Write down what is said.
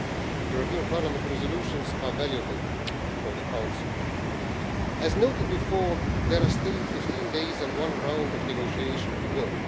European Parliament resolutions are valuable for the Council. As I noted earlier, there are still 15 days and one round of negotiations to go.